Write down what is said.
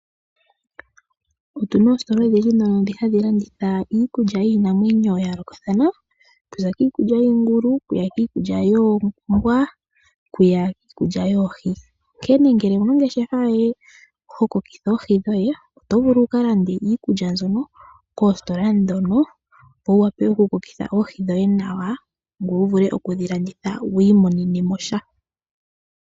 Otu na oositola odhindji dhono dhi hadhi landitha iikulya yiinamwenyo ya yoolokathana, okuza kiikulya yiingulu, okuya kiikulya yoombwa, okuya kiikulya yoohi. Onkene ngele owu na ongeshefa yoye hokokitha oohi dhoye, oto vulu wu ka lande iikulya mbyoka koositola dhono, opo wu wape oku kokitha oohi dhoye nawa, ngoye wu vule okudhi landithe wiimonenemo sha